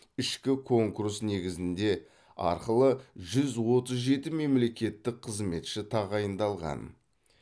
ішкі конкурс негізінде арқылы жүз отыз жеті мемлекеттік қызметші тағайындалған